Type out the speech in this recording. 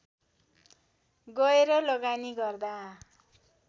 गएर लगानी गर्दा